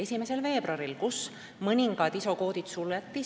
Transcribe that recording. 1. veebruaril mõningad ISO-koodid suleti.